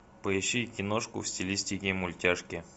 поищи киношку в стилистике мультяшки